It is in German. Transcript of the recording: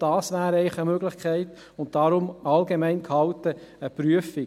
Auch dies wäre eigentlich eine Möglichkeit – und daher allgemein gehalten – einer Prüfung.